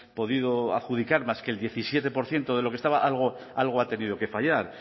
podido adjudicar más que el diecisiete por ciento de lo que estaba algo ha tenido que fallar